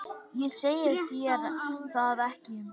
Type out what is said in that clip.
Ég segi þér það ekki.